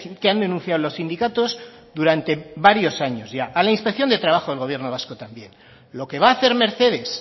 que han denunciado los sindicatos durante varios años ya a la inspección de trabajo del gobierno vasco también lo que va a hacer mercedes